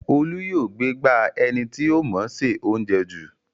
Olú yóò gbégbá ẹni tí ó mọọ ṣe óuńjẹ jù